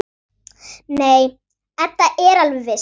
Nei, Edda er alveg viss.